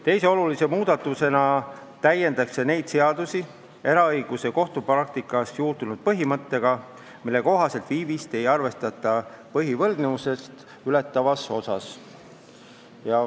Teise olulise muudatusena täiendatakse neid seadusi eraõiguse kohtupraktikas juurdunud põhimõttega, mille kohaselt viivist ei arvestata põhivõlgnevust ületavas osas.